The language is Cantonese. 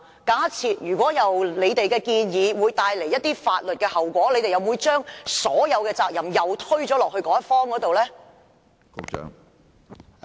假設你們的建議會帶來一些法律後果，你們又會否將所有責任推到另一方身上呢？